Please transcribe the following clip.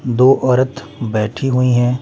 दो औरत बैठी हुई हैं।